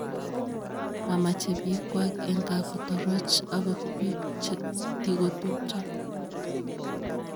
mamache biikchwak eng ka kotoroch angot biik che tikotubcha